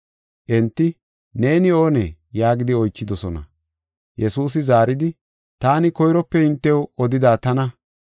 Enti, “Neeni oonee?” yaagidi oychidosona. Yesuusi zaaridi, “Taani, koyrope hintew odida tana.